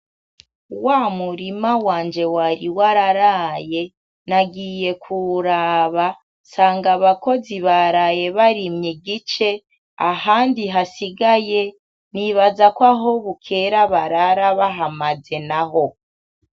W'amurima wanje wari wararaye, nagiye kuwuraba sanga abakozi baraye barimye igice ahandi hasigaye nibaza ko aho bukera barara bahamaze naho.